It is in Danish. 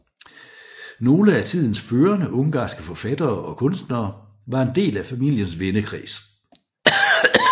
Nogle af tidens førende ungarske forfattere og kunstnere var en del af familiens vennekreds